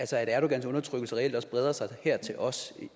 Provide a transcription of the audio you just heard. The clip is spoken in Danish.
erdogans undertrykkelse reelt også breder sig her til os